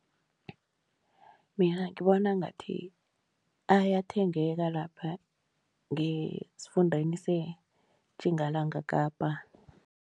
Mina ngibona ngathi ayathengeka lapha ngesifundeni seTjingalanga Kapa.